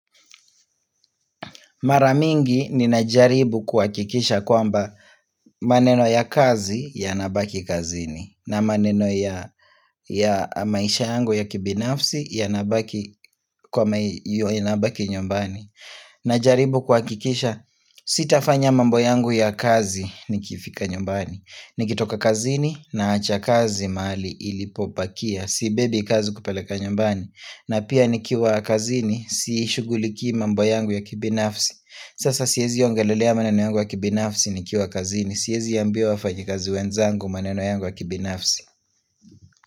Mara mingi ninajaribu kuhakikisha kwamba maneno ya kazi yanabaki kazini na maneno ya maisha yangu ya kibinafsi yanabaki nyumbani. Najaribu kuhakikisha sita fanya mambo yangu ya kazi nikifika nyumbani. Niki toka kazini naacha kazi mahali ilipobakia. Sibebi kazi kupeleka nyumbani. Na pia nikiwa kazini sishuguliki mambo yangu ya kibinafsi. Sasa siezi ongelelea maneno yangu ya kibinafsi nikiwa kazini. Siezi ambia wafanyikazi wenzangu maneno yangu ya kibinafsi.